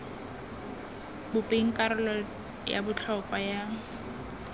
bopeng karolo ya botlhokwa ya